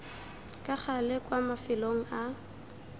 ka gale kwa mafelong a